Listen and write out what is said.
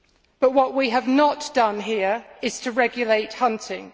But what we have not done here is to regulate hunting.